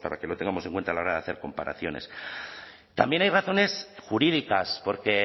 que lo tengamos en cuenta a la hora de hacer comparaciones también hay razones jurídicas porque